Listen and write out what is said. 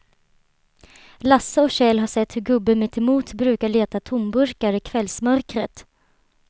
Lasse och Kjell har sett hur gubben mittemot brukar leta tomburkar i kvällsmörkret.